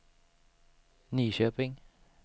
Nyköping